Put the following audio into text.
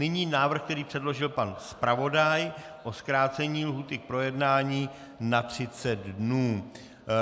Nyní návrh, který předložil pan zpravodaj, o zkrácení lhůty k projednání na 30 dnů.